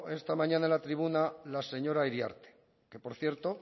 esta mañana en la tribuna la señora iriarte que por cierto